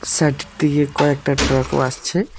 Side দিয়ে কয়েকটা ট্রাকও আসছে।